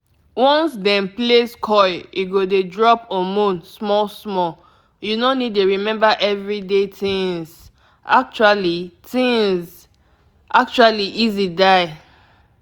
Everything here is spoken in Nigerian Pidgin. implant na just small thing dem go fix — e go protect you wela nobody go sabi ah actually e sure die.